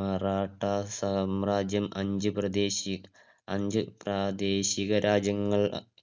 മറാഠ സാമ്രാജ്യം അഞ്ച് പ്രദേശം~ അഞ്ച് പ്രാദേശിക രാജ്യങ്ങൾ